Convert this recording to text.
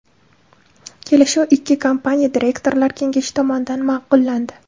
Kelishuv ikki kompaniya direktorlar kengashi tomonidan ma’qullandi.